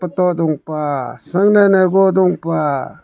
photo dungpah sangne negu dungpah.